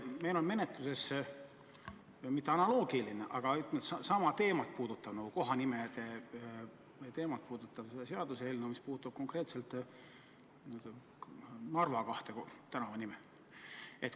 Meil on menetluses mitte analoogiline, aga sama teemat – kohanimede teemat – käsitlev seaduseelnõu, mis puudutab konkreetselt kahte Narva tänavanime.